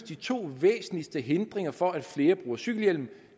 de to væsentligste hindriger for at flere bruger cykelhjelm